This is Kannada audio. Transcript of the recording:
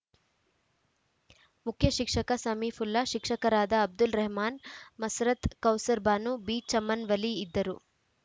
ಮುಖ್ಯಶಿಕ್ಷಕ ಸಮೀಪುಲ್ಲಾ ಶಿಕ್ಷಕರಾದ ಅಬ್ದುಲ್‌ ರೆಹಮಾನ್‌ ಮುಸರತ್‌ ಕೌಸರ್‌ ಬಾನು ಬಿಚಮನ್‌ ವಲಿ ಇದ್ದರು